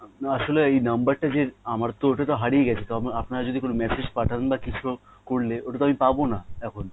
আসলে এই number টা যে আমার তো ওটাতো হারিয়ে গেছে তো আপনারা যদি কোনো massage পাঠান বা কিছু করলে ওটাতো আমি পাবো না এখন